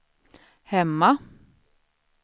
hemma